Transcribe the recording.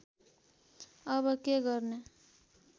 अब के गर्ने